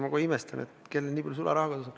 Ma kohe imestan, et kellelgi nii palju sularaha kodus on.